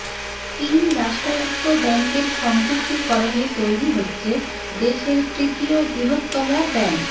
তিন রাষ্ট্রায়ত্ব ব্যাঙ্কের সংযুক্তিকরণে তৈরি হচ্ছে দেশের তৃতীয় বৃহত্তম ব্যাঙ্ক